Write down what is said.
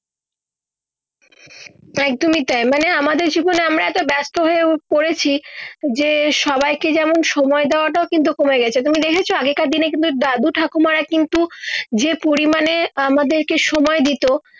একদমই তাই মানে আমাদের জীবনে আমরা ব্যস্ত হয়েও পরেছি যে সবাইকে যেমন সময় দেওয়া টা কিন্তু কমে গেছে তুমি দেখেছো আগেকার দিনে দাদু ঠাকুমারা কিন্তু যে পরিমান মানে আমাদের কে সময় দিতো